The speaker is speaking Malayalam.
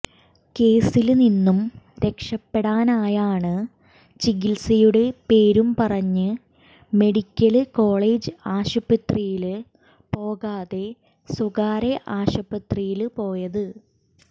കേസില്നിന്നും രക്ഷപ്പെടാനായാണ് ചികിത്സയുടെ പേരും പറഞ്ഞ് മെഡിക്കല് കോളജ് ആശുപത്രിയില് പോകാതെ സ്വകാര്യ ആശുപത്രിയില് പോയത്